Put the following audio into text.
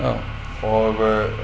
og